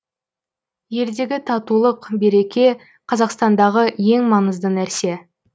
елдегі татулық береке қазақстандағы ең маңызды нәрсе